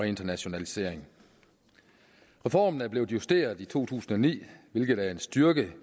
internationalisering reformen er blevet justeret i to tusind og ni hvilket er en styrke